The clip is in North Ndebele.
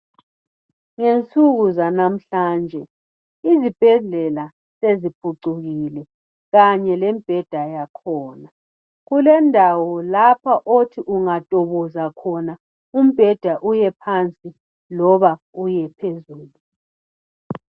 Ngensuku zanamhhlanje izibhedlela seziphucukile kanye lemibheda yakhona kulendawo lapha othi ungahlokoza khona umpheda uyephansi loba uyephezulu.